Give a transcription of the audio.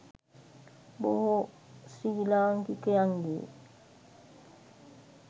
බොහෝ ශ්‍රී ලාංකිකයන්ගේ